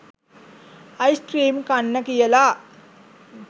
ice cream කන්න කියලා